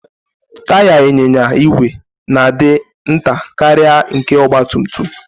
Taya ịnyịnya igwe na-adị nta karịa nke ọgba tum tum.